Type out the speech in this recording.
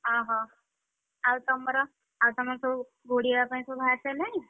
ଆହୋ ଆଉ ତମର, ଆଉ ତମର ସବୁ ଘୋଡ଼ିହେବା ପାଇଁ ସବୁ ବାହାରି ସାଇଲାଣି?